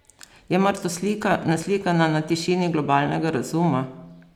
Je mar to slika, naslikana na tišini globalnega razuma?